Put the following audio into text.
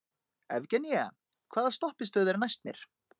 Evgenía, hvaða stoppistöð er næst mér?